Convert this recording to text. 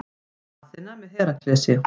Aþena með Heraklesi.